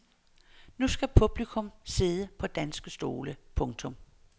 Nu skal publikum sidde på danske stole. punktum